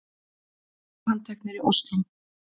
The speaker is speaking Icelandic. Fimm handteknir í Ósló